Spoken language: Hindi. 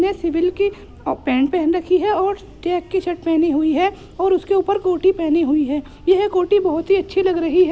यह सिविल की ओ पैंट पहन रखी है और चैक की शर्ट पहनी हुई है और उसके ऊपर कोटि पहेनी हुई है और ये कोटि बहोत ही अच्छी लग रही है।